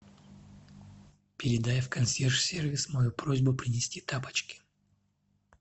передай в консьерж сервис мою просьбу принести тапочки